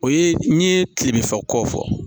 O ye n ye kilebin fɔ kɔ fɔ